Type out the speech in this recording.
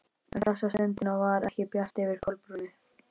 En þessa stundina var ekki bjart yfir Kolbrúnu.